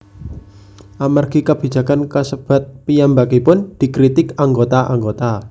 Amargi kabijakan kasebat piyambakipun dikritik anggota anggota